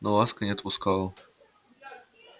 но ласка не отпускала